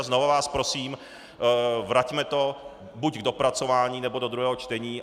A znova vás prosím, vraťme to buď k dopracování, nebo do druhého čtení.